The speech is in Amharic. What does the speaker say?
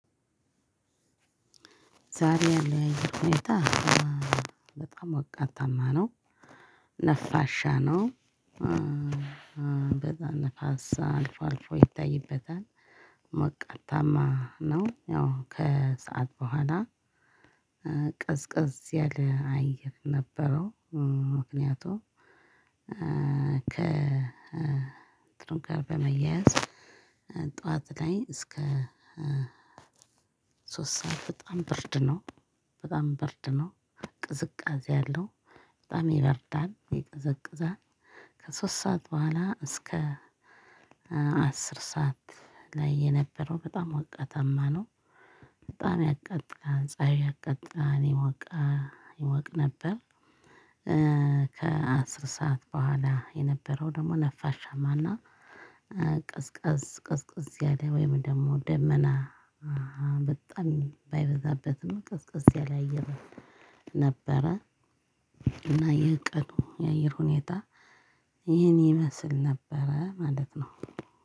ዛሬ ያለው የአየር ሁኔታ በጣም ሞቃታማ ነው ነፋሻ ነው። በዛ ንፋስ አልፎ አልፎ ይታይበታል። ሞቃታማ ነው ያው ከሰአት በኋላ ቅዝቅዝ ያለ አየር ነበረው። ምክንያቱም ከ እንትኑ ጋር በመያያዝ ጠዋት ላይ እስከ ሶስት ሰዓት በጣም ብርድ ነው በጣም ብርድ ነው ቅዝቃዜ አለው በጣም ይበርዳል ይቀዘቅዛል። ከሶስት ሰዓት በኋላ እስከ አስር ሰዓት ላይ የነበረው በጣም ሞቃታማ ነው በጣም ያቃጥላል ፀሀይ ያቃጥላል ይሞቃል ይሞቅ ነበር። ከአስር ሰዓት በኋላ የነበረው ደግሞ ነፋሻማና ቀዝቀዝ ቀዝቀዝ ያለ ወይም ደግሞ ደመና በጣም ባይበዛበትም ቀዝቀዝ ያለ አየር ነበረ። እና የቀኑ የአየር ሁኔታ ይህን ይመስል ነበረ ማለት ነው።